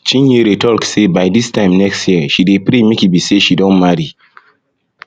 chinyere talk say by dis time next year she dey pray make e be say she don marry